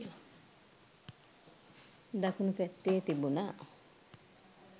දකුණු පැත්තේ තිබුණා..